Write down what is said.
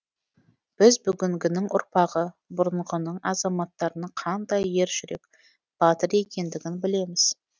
біз бүгінгінің ұрпағы бұрынғының азаматтарының қандай ер жүрек батыр екендігін білеміз